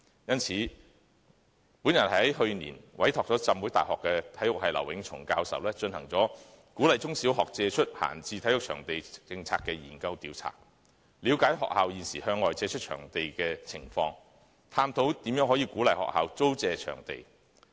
因此，我在去年委託浸會大學體育系劉永松教授進行"鼓勵中小學借出閒置體育場地政策之研究調查"，以了解學校現時向外借出場地的情況，探討如何可以鼓勵學校租借場地。